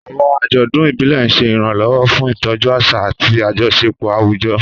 Àwọn àjọ̀dún ìbílẹ̀ ń ṣe ìrànlọ́wọ́ fún ìtọ́jú àṣà àti àjọṣepọ̀ àwùjọ.